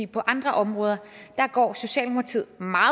på andre områder går socialdemokratiet meget